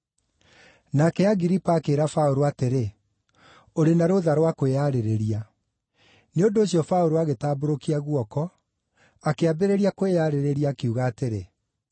Nake Agiripa akĩĩra Paũlũ atĩrĩ, “Ũrĩ na rũũtha rwa kwĩyarĩrĩria.” Nĩ ũndũ ũcio Paũlũ agĩtambũrũkia guoko, akĩambĩrĩria kwĩyarĩrĩria, akiuga atĩrĩ,